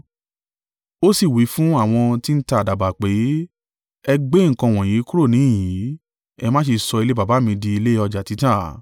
Ó sì wí fún àwọn tí ń ta àdàbà pé, “Ẹ gbé nǹkan wọ̀nyí kúrò níhìn-ín; ẹ má ṣe sọ ilé Baba mi di ilé ọjà títà.”